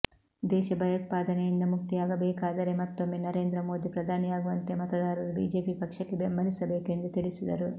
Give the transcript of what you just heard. ದೇಶ ಭಯೋತ್ಪಾದನೆಯಿಂದ ಮುಕ್ತಿಯಾಗಬೇಕಾದರೆಮತ್ತೊಮ್ಮೆ ನರೇಂದ್ರ ಮೋಧಿ ಪ್ರಧಾನಿಯಾಗುವಂತೆ ಮತದಾರರು ಬಿಜೆಪಿ ಪಕ್ಷಕ್ಕೆ ಬೆಂಬಲಿಸಬೇಕು ಎಂದು ತಿಳಿಸಿದರು